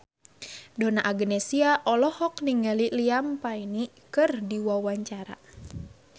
Donna Agnesia olohok ningali Liam Payne keur diwawancara